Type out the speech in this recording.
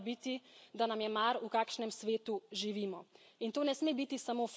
Jasno sporočilo Unije mora biti, da nam je mar, v kakšnem svetu živimo.